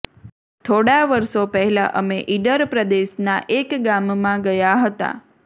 થોડાં વરસો પહેલાં અમે ઈડર પ્રદેશના એક ગામમાં ગયા હતા